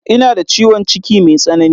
Ina da ciwon ciki me tsanani.